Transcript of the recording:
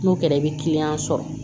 N'o kɛra i bɛ sɔrɔ